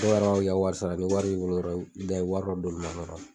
Dɔwraw ka wari sara ni wari wari dɔ